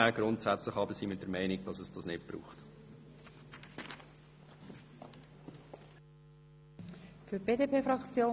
Grundsätzlich sind wir der Meinung, dass es dies nicht braucht.